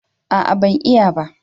A'a ban iya ba